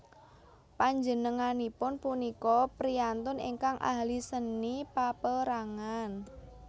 Panjenenganipun punika priyantun ingkang ahli seni paperangan